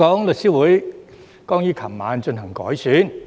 律師會剛於昨晚進行改選。